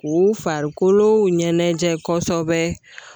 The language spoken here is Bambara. U farikolo ɲɛnajɛ kɔsɔbɛ